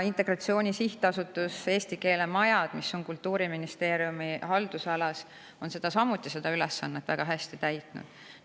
Integratsiooni Sihtasutus ja eesti keele majad, mis on Kultuuriministeeriumi haldusalas, on samuti seda ülesannet väga hästi täitnud.